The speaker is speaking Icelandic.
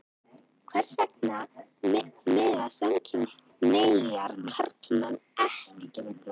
Hvers vegna mega samkynhneigðir karlmenn ekki gefa blóð?